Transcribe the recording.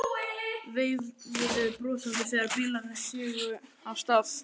Veifuðum brosandi þegar bílarnir sigu af stað.